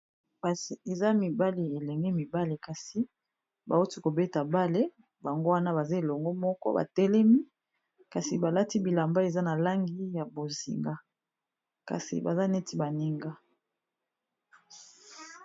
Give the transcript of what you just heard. Eza mibale elenge mibale kasi bawuti kobeta bale bango wana baza elongo moko batelemi kasi balati bilamba eza na langi ya bozinga kasi baza neti baninga.